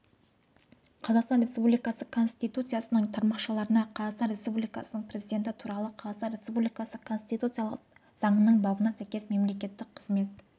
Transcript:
қазақстан республикасы конституциясының тармақшаларына қазақстан республикасының президенті туралы қазақстан республикасы конституциялық заңының бабына сәйкес мемлекеттік қызмет